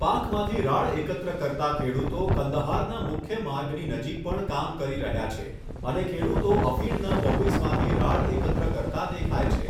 પાકમાંથી રાળ એકત્ર કરતા ખેડૂતો કંદહારના મુખ્ય માર્ગની નજીક પણ કામ કરી રહ્યા છે અને ખેડૂતો અફીણના પોપિઝમાંથી રાળ એકત્ર કરતા દેખાય છે.